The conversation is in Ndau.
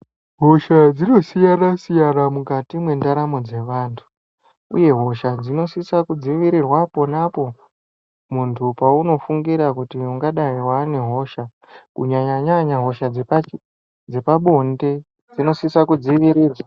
Hosha dzinosiyana siyana mukati mendaramo dzevantu uye hosha unosisirwa kudzivirira pona po muntu paunofungira kuti unenge wane hosha kunyanyanya hosha dzepabonde dzinosisa kudzivirirwa.